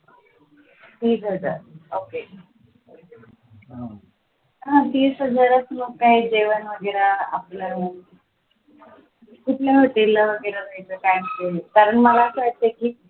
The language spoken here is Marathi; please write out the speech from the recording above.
तीस हजार okay तीस हजारात मग काय जेवण वगैरे आपलं कुठल्या hotel ला वगैरे जायचं काय कारण मला असं वाटते की,